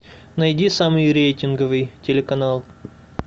найди самый рейтинговый телеканал